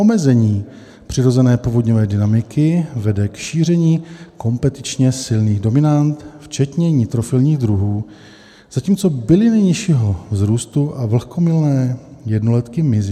Omezení přirozené povodňové dynamiky vede k šíření kompetičně silných dominant včetně nitrofilních druhů, zatímco byliny nižšího vzrůstu a vlhkomilné jednoletky mizí.